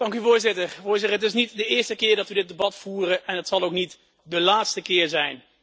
Voorzitter, het is niet de eerste keer dat we dit debat voeren en het zal ook niet de laatste keer zijn.